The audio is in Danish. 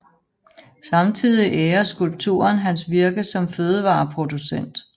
Samtidig ærer skulpturen hans virke som fødevareproducent